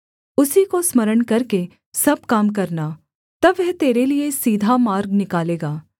उसी को स्मरण करके सब काम करना तब वह तेरे लिये सीधा मार्ग निकालेगा